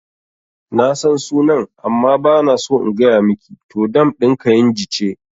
Nasan sunan amma bana so in gaya miki, to dam ɗin kainji ce